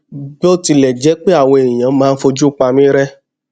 bó tilẹ jẹ pé àwọn èèyàn máa ń fojú pa mí ré